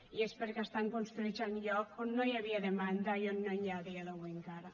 i és perquè estan construïts en llocs on no hi havia demanda i on no n’hi ha a dia d’avui encara